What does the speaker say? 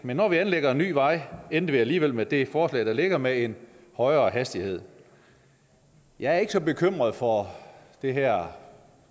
men når vi anlægger en ny vej endte vi alligevel med det forslag der ligger med en højere hastighed jeg er ikke så bekymret for den her